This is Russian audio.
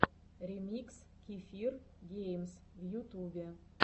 ремикс кефир геймс в ютубе